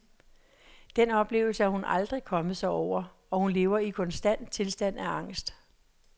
Den oplevelse er hun aldrig kommet sig over, og hun lever i en konstant tilstand af angst.